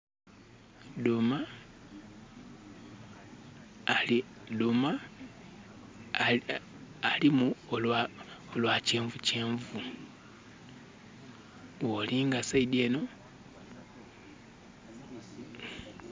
Dhuuma ali...dhuuma alimu olwa kyenvukyenvu. Bwolinga side enho...